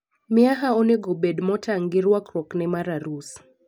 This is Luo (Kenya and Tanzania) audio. Miaha onego obed motang' gi rwakruokne mar arus.